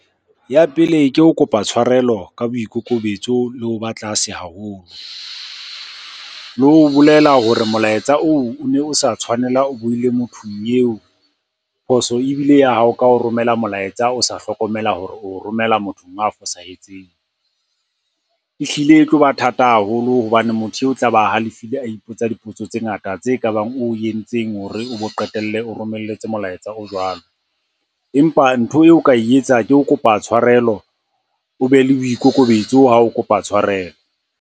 Ya pele ke ho kopa tshwarelo ka boikokobetso le ho ba tlase haholo. Le ho bolela hore molaetsa oo o ne o sa tshwanela o boele mothong eo. Phoso ebile ya hao ka ho romela molaetsa o sa hlokomela hore o romela mothong a fosahetseng. Ehlile e tloba thata haholo hobane motho eo o tla ba halefile, a ipotsa dipotso tse ngata tse ka bang o entseng hore o be o qetelle o romelletse molaetsa o jwalo. Empa ntho eo o ka e etsa ke ho kopa tshwarelo, o be le boikokobetso ha o kopa tshwarelo.